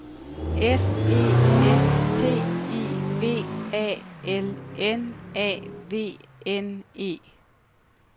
F E S T I V A L N A V N E